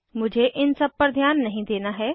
मुझे इन सब पर ध्यान नहीं देना है